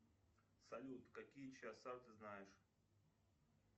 салют какие часа ты знаешь